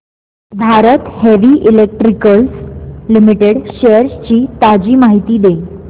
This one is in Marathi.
Bharat heavy electricals limited shares ची ताजी माहिती दे